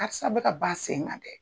Karisa bɛ ka ka ban a sen kan dɛ.